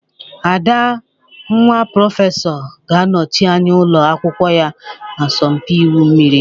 Ada, nwa prọfesọ ga-anọchi anya ụlọ akwụkwọ ya na asọmpi igwu mmiri